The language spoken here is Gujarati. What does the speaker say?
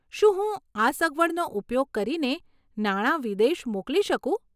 શું હું આ સગવડનો ઉપયોગ કરીને નાણા વિદેશ મોકલી શકું?